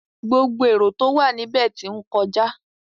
Gbogbo erò tó wà níbẹ̀ tí ń kọjá.